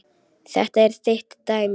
Þetta er þitt dæmi.